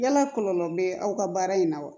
Yala kɔlɔlɔ bɛ aw ka baara in na wa